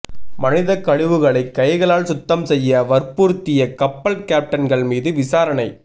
மனிதக்கழிவுகளை கைகளால் சுத்தம் செய்ய வற்புறுத்திய கப்பல் கேப்டன்கள் மீது விசாரணை